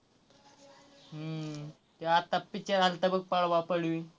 हम्म त्यो आत्ता picture आलता बघ पळवा पळवी.